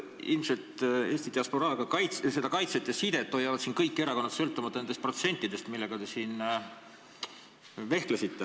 Ilmselt Eesti diasporaaga sidet hoiavad kõik erakonnad, sõltumata nendest protsentidest, millega te siin vehkisite.